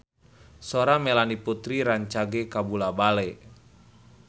Sora Melanie Putri rancage kabula-bale